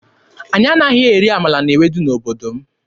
Anyị anaghị eri amala na ewedu n'obodo m.